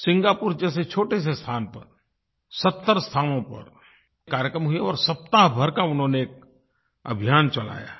Singapore जैसे छोटे से स्थान पर 70 स्थानों पर कार्यक्रम हुए और सप्ताह भर का उन्होंने एक अभियान चलाया है